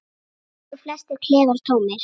Þar eru flestir klefar tómir.